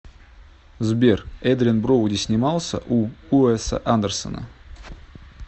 сбер эдриан броуди снимался у уэса андерсона